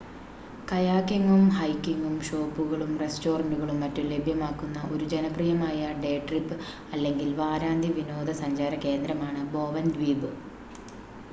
കയാക്കിംഗും ഹൈക്കിംഗും ഷോപ്പുകളും റെസ്റ്റോറൻ്റുകളും മറ്റും ലഭ്യമാക്കുന്ന ഒരു ജനപ്രിയമായ ഡേ ട്രിപ്പ് അല്ലെങ്കിൽ വാരാന്ത്യ വിനോദ സഞ്ചാര കേന്ദ്രമാണ് ബോവൻ ദ്വീപ്